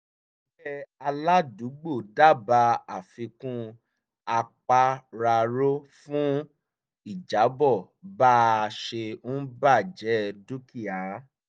ẹgbẹ́ aládùúgbò dábàá àfikún apàráàro fún ìjábọ̀ bá a ṣe ń baje dúkìá